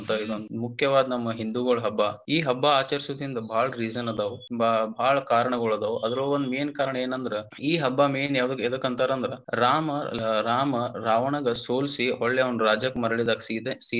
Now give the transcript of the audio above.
ಇದ ಮುಖ್ಯವಾಗಿ ನಮ್ಮ ಹಿಂದುಗೊಳ ಹಬ್ಬ ಈ ಹಬ್ಬಾ ಆಚರಿಸೋದ್ರಿಂದ ಬಾಳ reason ಆದವು ಬಾಳ ಬಾಳ ಕಾರಣಗಳಾದವ ಅದ್ರೊಳಗ ಒಂದ main ಕಾರಣ ಏನಂದ್ರ ಈ ಹಬ್ಬಾ main ಯಾವಾದಕ ಎದಕ್ಕ ಅಂತಾರ ಅಂದ್ರ ರಾಮಾ ರಾಮ ರಾವಣಗ ಸೋಲಿಸಿ ಹೊಳ್ಳಿ ಅವನ ರಾಜ್ಯಕ್ಕ ಮರಳಿದಾಗ ಸೀತೆ ಸೀತೆಗ.